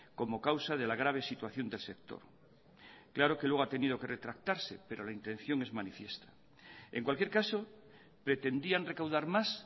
como causa de la grave situación del sector claro que luego ha tenido que retractarse pero la intención es manifiesta en cualquier caso pretendían recaudar más